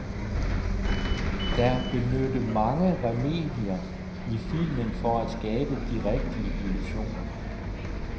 Der benytte mange remedier i filmen for at skabe de rigtige illusioner.